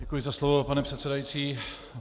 Děkuji za slovo, pane předsedající.